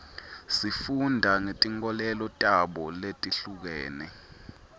sifunda ngetinkolelo tabo letihlukene